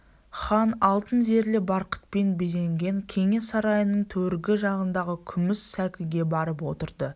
хан алтын зерлі барқытпен безенген кеңес сарайының төргі жағындағы күміс сәкіге барып отырды